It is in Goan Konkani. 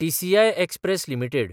TCI express limited